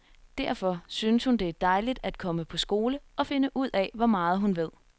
Derfor syntes hun det er dejligt at komme på skole, og finde ud af, hvor meget hun ved.